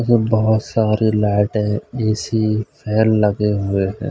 बहोत सारे लाइटे है ए_सी फैन लगे हुए हैं।